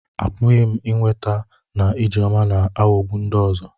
Apụghị m ikweta na Ijeoma ga-aghọgbu ndị ọzọ.